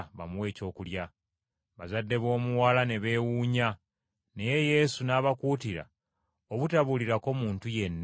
Bazadde b’omuwala ne beewuunya, naye Yesu n’abakuutira obutabuulirako muntu yenna ebibaddewo.